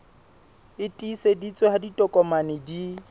e tiiseditsweng ha ditokomane di